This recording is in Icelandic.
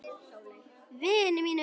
Vini mínum!